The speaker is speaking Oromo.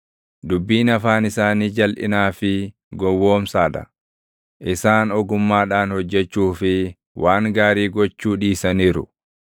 Dubbiin afaan isaanii jalʼinaa fi gowwoomsaa dha; isaan ogummaadhaan hojjechuu fi waan gaarii gochuu dhiisaniiru.